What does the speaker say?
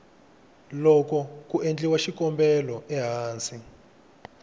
loko ku endliwa xikombelo ehansi